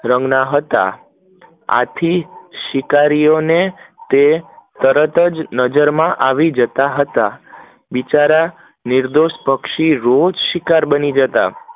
રંગના હતા. આથી શીઈકરીઓ ને તરત જ નજર મ આવી જતા હતા. બિચારા નિર્દોષ પક્ષીઓ રોજ શિકાર બની જતા